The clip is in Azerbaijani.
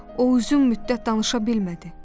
O uzun müddət danışa bilmədi.